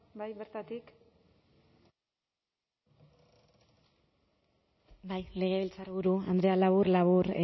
bai bertatik bai legebiltzarburu andrea labur labur